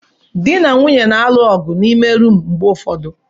Di na nwunye na-alụ ọgụ n'ime rumụ mgbe ụfọdụ.